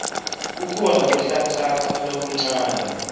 kukhona kuhlanhlatsa lokuncane